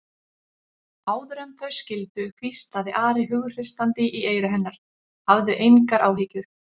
Áður en þau skildu hvíslaði Ari hughreystandi í eyra hennar: Hafðu engar áhyggjur.